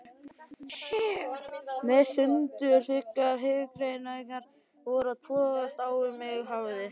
Meðan sundurþykkar hugrenningar voru að togast á um mig hafði